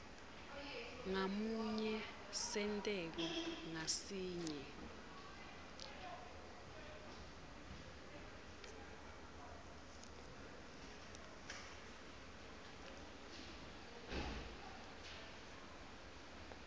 ngamunye senteko ngasinye